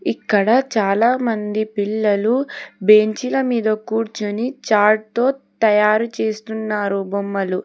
ఇక్కడ చాలామంది పిల్లలు బెంచ్ ల మీద కూర్చొని చాట్ తో తయారు చేస్తున్నారు బొమ్మలు.